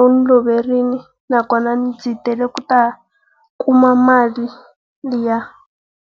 u n'wi loverile naswona ndzi tele ku ta kuma mali liya.